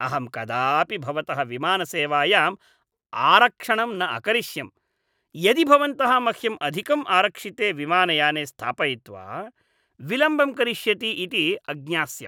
अहं कदापि भवतः विमानसेवायाम् आरक्षणं न अकरिष्यम् यदि भवन्तः मह्यं अधिकम् आरक्षिते विमानयाने स्थापयित्वा विलम्बं करिष्यति इति अज्ञास्यम्।